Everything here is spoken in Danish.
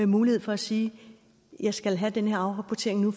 mulighed for at sige jeg skal have den her afrapportering nu